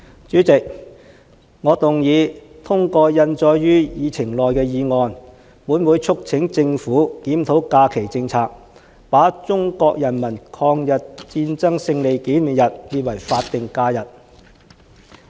主席，我動議通過印載於議程內的議案，本會促請政府檢討假期政策，把中國人民抗日戰爭勝利紀念日列為法定假日。